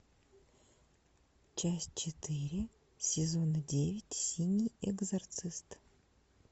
часть четыре сезона девять синий экзорцист